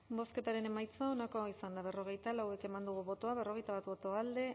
bozketaren emaitza onako izan da hirurogeita hamabost eman dugu bozka berrogeita bat boto alde